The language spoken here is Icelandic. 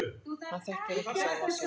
Hann þekki ekki sjálfan sig.